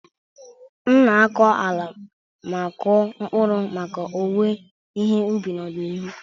M na-akọ ala ma kụọ mkpụrụ maka owuwe ihe ubi n'ọdịnihu.